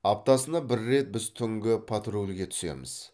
аптасына бр рет біз түнгі патрульге түсеміз